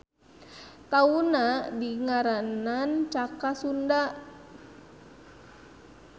Taunna dingaranan Caka Sunda.